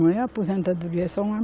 Não é aposentadoria, é só um